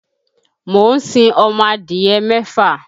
Mo ń sin ọmọ adìyẹ mẹ́fà.